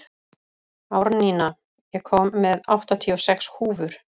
Árnína, ég kom með áttatíu og sex húfur!